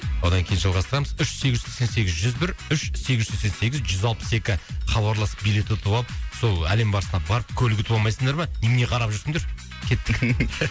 одан кейін жалғастырамыз үш сегіз жүз сексен сегіз жүз бір үш сегіз жүз сексен сегіз жүз алпыс екі хабарласып билет ұтып алып сол әлем барысына барып көлік ұтып алмайсыңдар ма немене қарап жүрсіңдер кеттік